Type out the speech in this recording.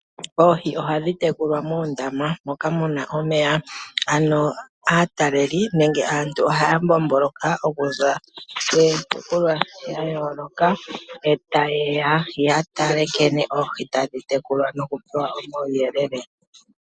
Oohi ohadhi tekulwa moondama moka muna omeya. Ano aatalelipo nenge aantu ohaya zi kiitopolwa yayoolokathana, eta yeya okutala nkene oohi hadhi tekulwa, yo taya pewa nduno omauyelele.